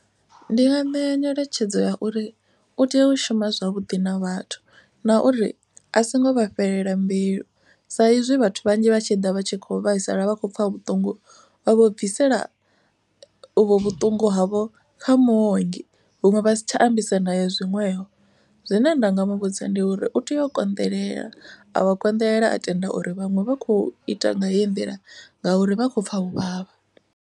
Ndi nga ṋea nyeletshedzo ya uri u tea u shuma zwavhuḓi na vhathu. Na uri a songo vha fhelela mbilu sa izwi vhathu vhanzhi vha tshi ḓa vha tshi kho vhaisala vha khou pfha vhuṱungu. Vha vho bvisela uvho vhuṱungu havho kha muongi huṅwe vha si tsha ambisa na ye zwinwevho. Zwine nda nga muvhudza ndi uri u tea u konḓelela a vha konḓelela a tenda uri vhaṅwe vha kho ita nga heyi nḓila ngauri vha khou pfha u vhavha.